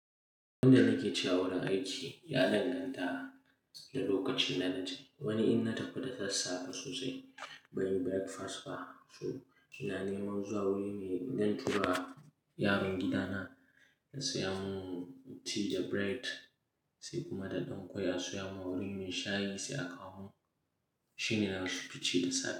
Abin da nake cewa wurin aiki ya danganta da lokacin da na je. Wani in na tafi da sassafe sosai banyi breakfast ba. To, ina neman zuwa wurin mai zan tura yaron gidana ya saya mun tea da bread sai kuma da ɗan ƙwai a soya mun wurin me shayi sai aka mun. Shi ne na fi ci da safe.